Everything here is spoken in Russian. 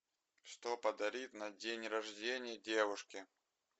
что подарить на день рождения девушке